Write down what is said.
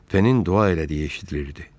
Penin dua elədiyi eşidilirdi.